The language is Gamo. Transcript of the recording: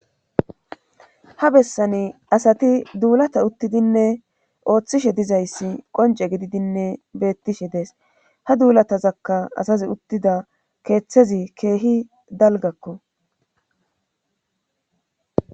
ha bessani asati duulata uttidinne ooththishe dizayssi qonce gididinne beettishe dees ha duulatazakka asazi uttida keeththezi keehi dalgakko